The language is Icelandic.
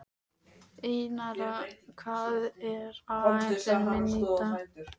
Einara, hvað er á áætluninni minni í dag?